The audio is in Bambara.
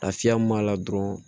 Lafiya mun b'a la dɔrɔn